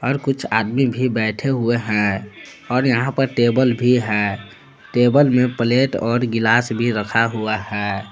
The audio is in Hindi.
कुछ आदमी भी बैठे हुए हैं और यहां पर टेबल भी है टेबल में प्लेट और गिलास भी रखा हुआ है।